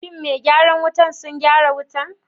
shin me gyaran wutan sun gyaran wutan?